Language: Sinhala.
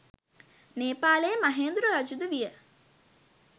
නේපාලයේ මහේන්ද්‍ර රජු ද විය